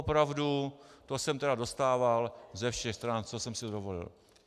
Opravdu, to jsem teda dostával ze všech stran, co jsem si dovolil.